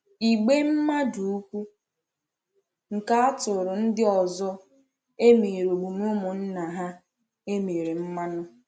Ìgbè mmadụ ukwu nke atụrụ ndị ọzọ emèrè omume ụmụnna ha e mere mmanụ.